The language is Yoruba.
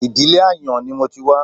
Ìdílé ààyàn ni mo ti wá